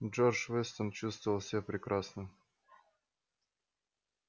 джордж вестон чувствовал себя прекрасно